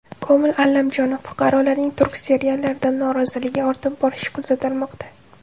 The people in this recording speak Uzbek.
Komil Allamjonov: fuqarolarning turk seriallaridan noroziligi ortib borishi kuzatilmoqda.